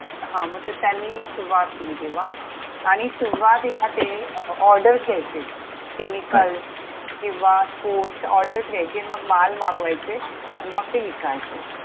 हां मं ते त्यांनी सुरुवात केली तेव्हा, आणि सुरुवातीला ते orders घ्यायचे. Chemicals हम्म किंवा foods orders घ्यायचे मग माल मागवायचे. अन् मग ते विकायचे.